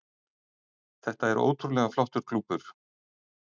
Þetta er ótrúlega flottur klúbbur.